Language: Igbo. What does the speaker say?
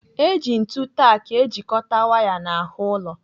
Eji ntu tak ejikọta waya n'ahụ ụlọ.